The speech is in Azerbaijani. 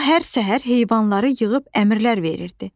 O hər səhər heyvanları yığıb əmrlər verirdi.